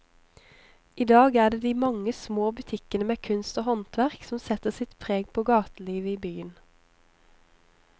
I dag er det de mange små butikkene med kunst og håndverk som setter sitt preg på gatelivet i byen.